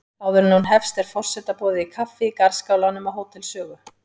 Áður en hún hefst er forseta boðið kaffi í garðskálanum á Hótel Sögu.